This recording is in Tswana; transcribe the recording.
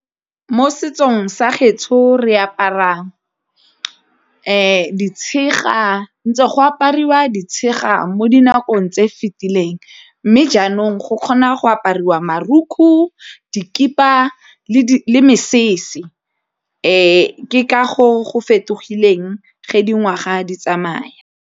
Mo setsong sa gaetsho re aparang ditshega, ntsha go apariwa ditshega mo dinakong tse fetileng mme jaanong ntlong go kgona go apariwa marukgu dikhiba le mesese ke ka go fetogileng ga dingwaga di tsamaya.